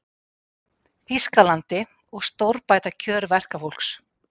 Þýskalandi og stórbæta kjör verkafólks.